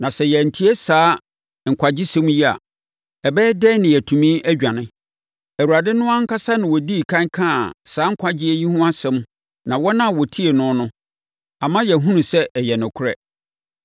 Na sɛ yɛantie saa nkwagyesɛm yi a, ɛbɛyɛ dɛn na yɛatumi adwane? Awurade no ankasa na ɔdii ɛkan kaa saa nkwagyeɛ yi ho asɛm na wɔn a wɔtiee no no, ama yɛahunu sɛ ɛyɛ nokorɛ.